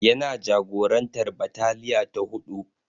Yana jagorantar bataliya ta huɗu.